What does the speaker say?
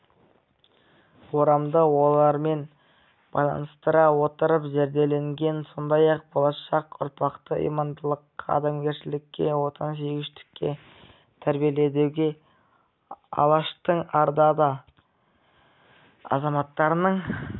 орамды ойлармен байланыстырыла отырып зерделенген сондай-ақ болашақ ұрпақты имандылыққа адамгершілікке отансүйгіштікке тәрбиелеудегі алаштың арда азаматтарының